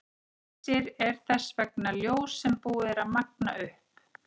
Leysir er þess vegna ljós sem búið er að magna upp.